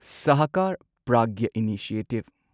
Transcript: ꯁꯍꯀꯥꯔ Pragya initiative